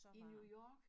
I New York